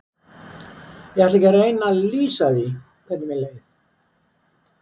Ég ætla ekki að reyna að lýsa því hvernig mér leið.